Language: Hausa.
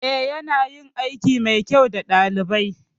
Eh ya nayin aiki mai kyau da ɗaliban